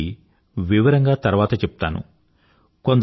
దీని గురించి వివరంగా తర్వాత చెప్తాను